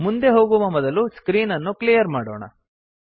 ಮುಂದೆ ಹೋಗುವ ಮೊದಲು ಸ್ಕ್ರೀನ್ ಅನ್ನು ಕ್ಲಿಯರ್ ಮಾಡೋಣ